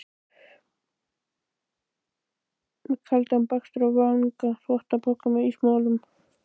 Með kaldan bakstur á vanga, þvottapoka með ísmolum.